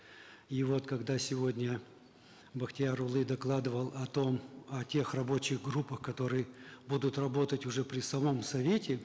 и вот когда сегодня бақтиярұлы докладывал о том о тех рабочих группах которые будут работать уже при самом совете